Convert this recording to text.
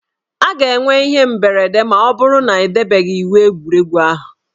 A ga-enwe ihe mberede ma ọ bụrụ na edebeghị iwu egwuregwu ahụ